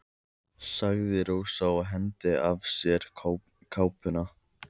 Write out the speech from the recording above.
sagði Rósa og hengdi af sér kápuna.